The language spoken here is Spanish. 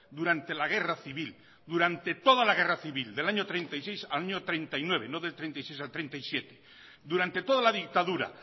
durante la guerra civil durante toda la guerra civil del año treinta y seis al año treinta y nueve no del treinta y seis al treinta y siete durante toda la dictadura